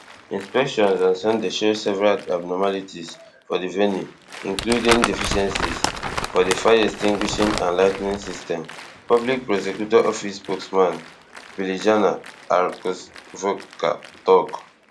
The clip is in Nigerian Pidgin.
inspections on sunday show several abnormalities for di venue including deficiencies for di fireextinguishing and lighting system public prosecutor office spokesman biljana arsovska tok